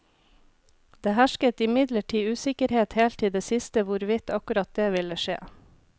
Det hersket imidlertid usikkerhet helt til det siste hvorvidt akkurat det ville skje.